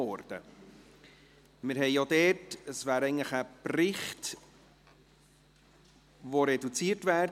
Es ist ein Bericht und vorgesehen gewesen wäre eine reduzierte Debatte.